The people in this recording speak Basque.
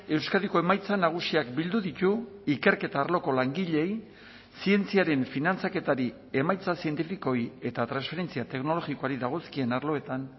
euskadiko emaitza nagusiak bildu ditu ikerketa arloko langileei zientziaren finantzaketari emaitza zientifikoei eta transferentzia teknologikoari dagozkien arloetan